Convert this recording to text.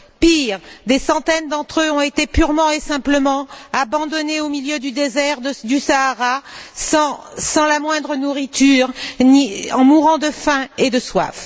Pire, des centaines d'entre eux ont été purement et simplement abandonnés au milieu du désert du Sahara sans la moindre nourriture, en mourant de faim et de soif.